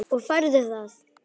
Og færðu það?